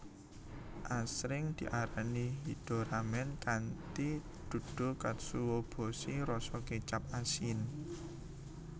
Asring diarani hida ramen kanthi duduh katsuobushi rasa kecap asin